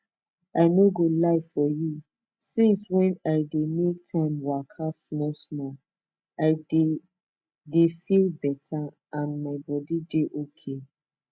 i no go lie for you since i dey make time waka small small i dey dey feel betta and my body dey okay